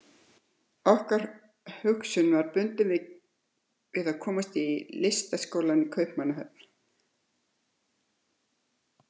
Okkar hugsun var bundin við að komast í Listaskólann í Kaupmannahöfn.